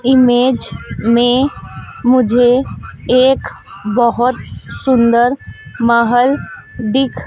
image में मुझे एक बहोत सुंदर महल दिख--